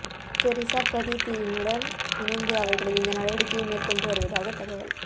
அமைச்சர் றிசாட்பதியுதீனுடன் இணைந்து அவர்கள் இந்த நடவடிக்கையை மேற்கொண்டு வருவதாக தகவல்